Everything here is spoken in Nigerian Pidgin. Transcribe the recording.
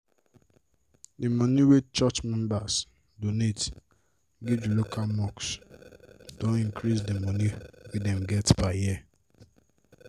d moni wey church members donate give d local mosque don increase the moni wey dem get per year.